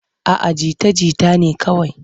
A'a jita-jita ne kawai.